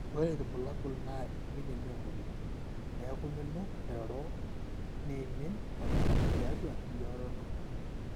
ore irbulabul naa eiminie memory, neeku minup airoro neimin oltung'ani tiatwa enkiroroto